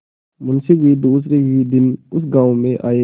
मुँशी जी दूसरे ही दिन उस गॉँव में आये